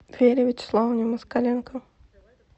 вере вячеславовне москаленко